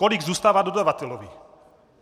Kolik zůstává dodavateli?